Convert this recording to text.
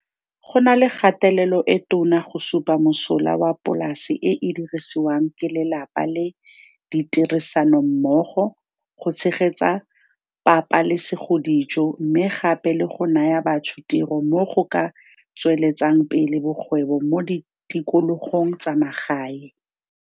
Go na le kgatelelo e tona go supa mosola wa polase e e dirisiwang ke lelapa le ditirisanommogo go tshegetsa pabalesegodijo mme gape le go naya batho tiro mo go ka tsweletsang pele bokgwebo mo ditikologong tsa magae.